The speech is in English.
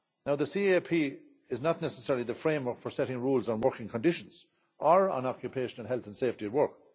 The CAP is not necessarily the framework for setting rules on working conditions or occupational health and safety at work.